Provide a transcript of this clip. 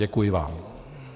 Děkuji vám.